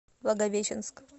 благовещенск